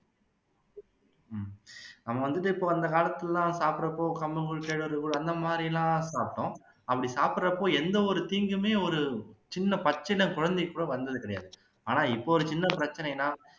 நம்ம வந்துட்டு இப்போ அந்த காலத்துல எல்லாம் சாப்பிடுறப்போ கம்மங்கூழ், கேழ்வரகு கூழ் அந்த மாதிரியெல்லாம் சாப்பிட்டோம் அப்படி சாப்பிடுறப்போ எந்தவொரு தீங்குமே ஒரு சின்ன பச்சிளம் குழந்தைக்கு கூட வந்தது கிடையாது ஆனா இப்போ ஒரு சின்ன பிரச்சனைனா